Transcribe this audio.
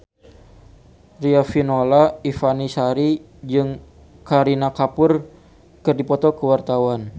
Riafinola Ifani Sari jeung Kareena Kapoor keur dipoto ku wartawan